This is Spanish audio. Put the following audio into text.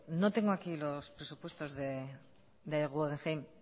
no tengo aquí los presupuestos del guggenheim